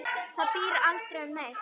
Það býr sig aldrei undir neitt.